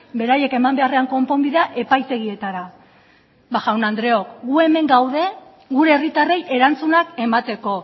beraiek eman beharrean konponbidea epaitegietara ba jaun andreok gu hemen gaude gure herritarrei erantzunak emateko